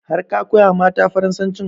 Har ka koya mata farasancin?